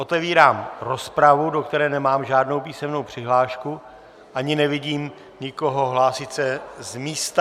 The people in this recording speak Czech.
Otevírám rozpravu, do které nemám žádnou písemnou přihlášku ani nevidím nikoho hlásit se z místa.